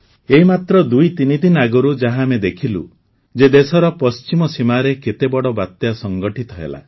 ଏଇ ମାତ୍ର ଦୁଇ ତିନି ଦିନ ଆଗରୁ ଯାହା ଆମେ ଦେଖିଲୁ ଯେ ଦେଶର ପଶ୍ଚିମ ସୀମାରେ କେତେ ବଡ଼ ବାତ୍ୟା ସଂଘଟିତ ହେଲା